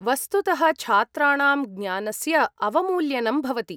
वस्तुतः, छात्राणां ज्ञानस्य अवमूल्यनं भवति।